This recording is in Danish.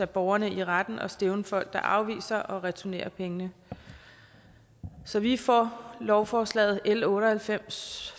borgerne i retten og stævne folk der afviser at returnere pengene så vi er for lovforslaget l otte og halvfems